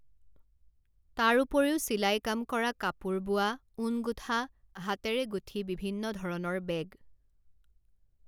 তাৰোপৰিও চিলাই কাম কৰা কাপোৰ বোৱা, ঊণ গুঠা, হাতেৰে গুঠি বিভিন্ন ধৰণৰ বেগ